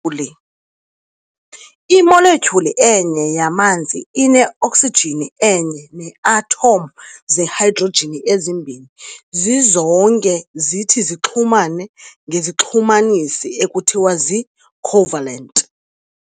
Imoletyhuli enye yamanzi ine-oksijini enye nee-atom zehydrojini ezimbini, zizonke zithi zixhumane ngezixhumanisi ekuthiwa zii-"covalent".